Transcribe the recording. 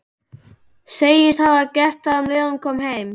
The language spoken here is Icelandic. Segist hafa gert það um leið og hún kom heim.